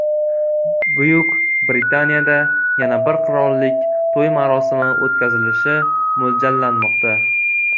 Buyuk Britaniyada yana bir qirollik to‘y marosimi o‘tkazilishi mo‘ljallanmoqda.